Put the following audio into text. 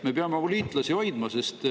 Me peame oma liitlasi hoidma.